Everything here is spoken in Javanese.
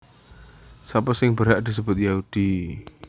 Sapa sing berhak disebut Yahudi